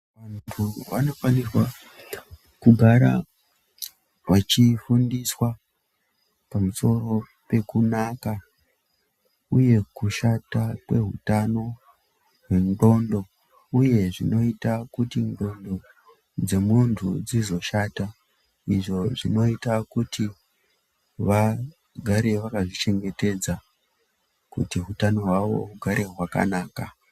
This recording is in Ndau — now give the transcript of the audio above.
Vanofanirwa kugara vachifundiswa pamusoro pekunaka uye kushata kwehutano hwendxondo, uye zvinoyita kuti ndxondo dzemuntu dzizoshata, izvo zvinoyita kuti vagare vakazvichengetedza, kuti hutano hwavo hugare hwakanaka.